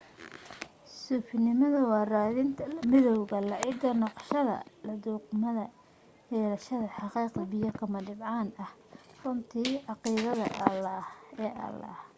suufinimadu waa raadinta la midawga la cid noqoshada la dhugmo-yeelashada xaqiiqda biyo kama dhibcaanka ah runta caqiideed ee ilaah